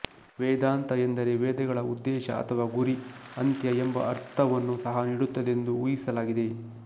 ವೇದಾಂತ ಎಂದರೆ ವೇದಗಳ ಉದ್ದೇಶ ಅಥವಾ ಗುರಿ ಅಂತ್ಯ ಎಂಬ ಅರ್ಥವನ್ನು ಸಹ ನೀಡುತ್ತದೆಂದು ಊಹಿಸಲಾಗಿದೆ